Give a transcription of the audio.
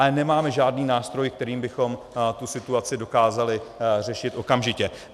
Ale nemáme žádný nástroj, kterým bychom tu situaci dokázali řešit okamžitě.